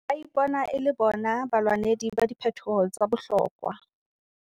Ba ipona e le bona balwanedi ba diphetoho tsa bohlokwa.